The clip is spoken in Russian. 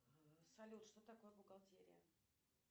салют что такое бухгалтерия